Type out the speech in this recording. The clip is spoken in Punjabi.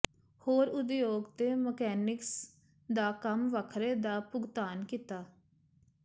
ਹੋਰ ਉਦਯੋਗ ਤੇ ਮਕੈਨਿਕਸ ਦਾ ਕੰਮ ਵੱਖਰੇ ਦਾ ਭੁਗਤਾਨ ਕੀਤਾ